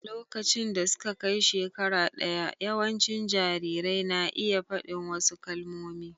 A lokacin da suka kai shekara ɗaya, yawancin jarirai na iya faɗi wasu kalmomi.